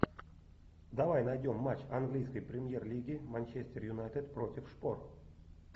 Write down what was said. давай найдем матч английской премьер лиги манчестер юнайтед против шпор